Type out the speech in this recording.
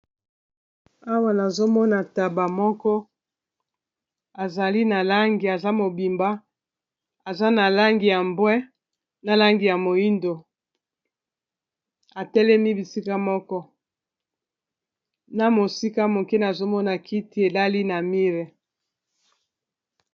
Awa nazomona taba moko azali na langi aza mobimba aza na langi ya mbwe, na langi ya moindo atelemi bisika moko na mosika mokene azomona kiti elali na mire